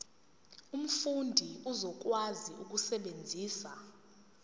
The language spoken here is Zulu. umfundi uzokwazi ukusebenzisa